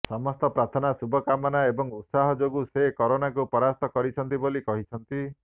ସମସ୍ତଙ୍କ ପ୍ରାର୍ଥନା ଶୁଭକାମନା ଏବଂ ଉତ୍ସାହ ଯୋଗୁଁ ସେ କରୋନାକୁ ପରାସ୍ତ କରିଛନ୍ତି ବୋଲି କହିଛନ୍ତି